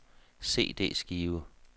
CD-skive